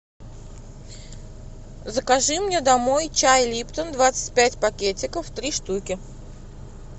закажи мне домой чай липтон двадцать пять пакетиков три штуки